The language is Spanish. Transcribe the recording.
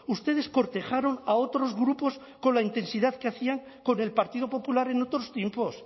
ustedes cortejaron a otros grupos con la intensidad que hacían con el partido popular en otros tiempos